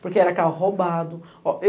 Porque era carro roubado.